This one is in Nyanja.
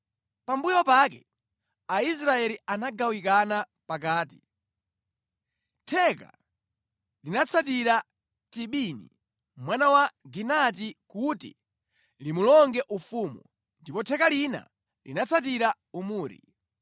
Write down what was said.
Pambuyo pake Aisraeli anagawikana pakati: theka linatsatira Tibini mwana wa Ginati kuti limulonge ufumu, ndipo theka lina linatsatira Omuri.